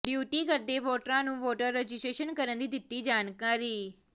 duty ਕਰਦੇ ਵੋਟਰਾਂ ਨੂੰ ਵੋਟਰ ਰਜਿਸਟਰੇਸ਼ਨ ਕਰਨ ਦੀ ਦਿੱਤੀ ਜਾਣਕਾਰੀ